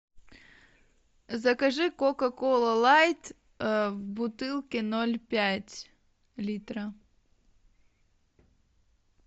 закажи кока кола лайт в бутылке ноль пять литра